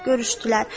Görüşdülər.